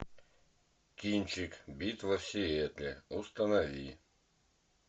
кинчик битва в сиэтле установи